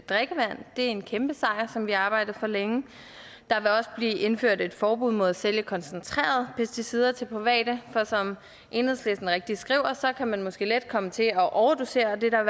en kæmpe sejr som vi har arbejdet for længe der vil også blive indført et forbud mod at sælge koncentrerede pesticider til private for som enhedslisten rigtigt skriver så kan man måske let komme til at overdosere og det er der